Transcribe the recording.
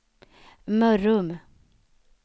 Mörrum